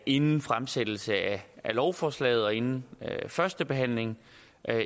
inden fremsættelsen af lovforslaget og inden førstebehandlingen